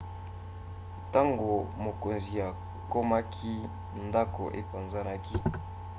ntango mokonzi akomaki ndako epanzanaki